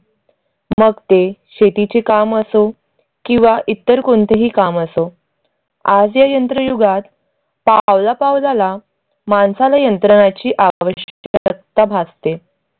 मग ते शेतीचे काम असो किंवा इतर कोणतेही काम असो. आज या यंत्रयुगात पावलापावलाला माणसाला यंत्रणाची आवश्यकता भासते.